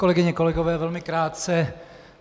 Kolegyně, kolegové, velmi krátce.